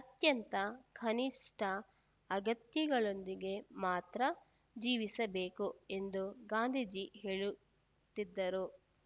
ಅತ್ಯಂತ ಕನಿಷ್ಠ ಅಗತ್ಯಗಳೊಂದಿಗೆ ಮಾತ್ರ ಜೀವಿಸಬೇಕು ಎಂದು ಗಾಂಧೀಜಿ ಹೇಳುತ್ತಿದ್ದರು